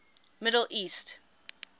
middle east